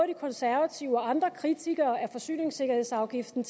de konservative og andre kritikere af forsyningssikkerhedsafgiften